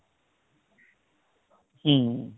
হম